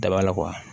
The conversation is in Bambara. Daba la